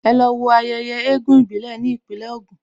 Ẹ lọ wo ayẹyẹ eégún ìbílẹ̀ ní Ìpínlẹ̀ Ògùn!